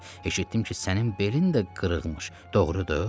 Eşitdim ki, sənin belin də qırığmış, doğrudur?